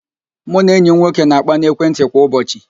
Mụ na enyi m nwoke na-akpa n'ekwentị kwa ụbọchị